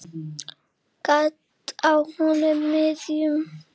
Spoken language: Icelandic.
Gat á honum miðjum.